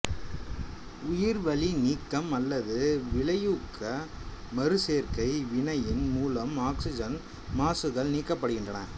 உயிர்வளி நீக்கம் அல்லது வினையூக்க மறுசேர்க்கை வினையின் மூலம் ஆக்சிசன் மாசுக்கள் நீக்கப்படுகின்றன